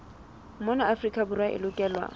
mona afrika borwa e lokelwa